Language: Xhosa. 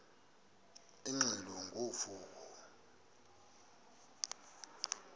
ingxelo ngo vuko